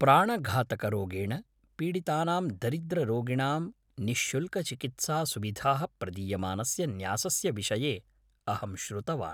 प्राणघातकरोगेण पीडितानां दरिद्ररोगिणां निःशुल्कचिकित्सासुविधाः प्रदीयमानस्य न्यासस्य विषये अहं श्रुतवान्।